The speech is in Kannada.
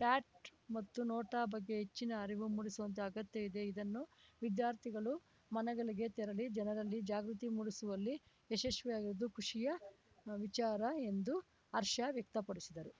ಪ್ಯಾಟ್‌ ಮತ್ತು ನೋಟಾ ಬಗ್ಗೆ ಹೆಚ್ಚಿನ ಅರಿವು ಮೂಡಿಸುವಂತೆ ಅಗತ್ಯತೆ ಇದೆ ಇದನ್ನು ವಿದ್ಯಾರ್ಥಿಗಳು ಮನೆಗಳಿಗೆ ತೆರಳಿ ಜನರಲ್ಲಿ ಜಾಗೃತಿ ಮೂಡಿಸುವಲ್ಲಿ ಯಶಸ್ವಿಯಾಗಿರುವುದು ಖುಷಿಯ ವಿಚಾರ ಎಂದು ಹರ್ಷ ವ್ಯಕ್ತಪಡಿಸಿದರು